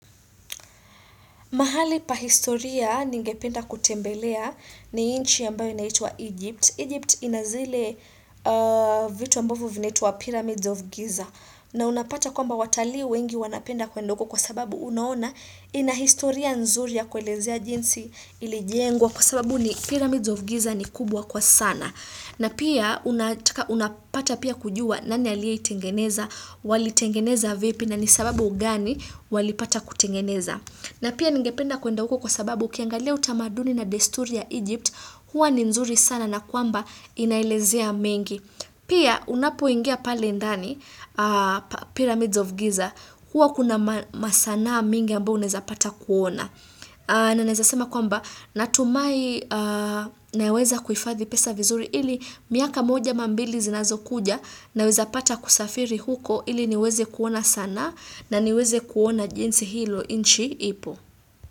Mahali pahistoria ningependa kutembelea ni inchi ambayo inaitwa Egypt. Egypt ina zile vitu ambavo vinaitwa Pyramids of Giza. Na unapata kwamba watalii wengi wanapenda kwenda uko kwa sababu unaona inahistoria nzuri ya kuelezea jinsi ilijengwa kwa sababu ni Pyramids of Giza ni kubwa kwa sana. Na pia unapata pia kujua nani aliye itengeneza, walitengeneza vipi na ni sababu gani wali pata kutengeneza. Na pia ningependa kuenda huko kwa sababu ukiangalia utamaduni na desturi ya Egypt, huwa ni nzuri sana na kwamba inaelezea mengi. Pia unapoingia pale ndani, Pyramids of Giza, huwa kuna masanaa mingi ambayo uneza pata kuona. Na naeza sema kwamba natumai naweza kuhifadhi pesa vizuri ili miaka moja ama mbili zinazo kuja naweza pata kusafiri huko ili niweze kuona sanaa na niweze kuona jinsi hilo inchi ipo.